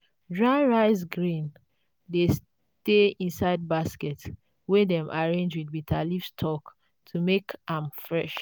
dry rice grains dey stay inside basket wey dem arrange with bitterleaf stalk to make am fresh.